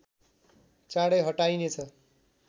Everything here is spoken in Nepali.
चाँडै हटाइने छ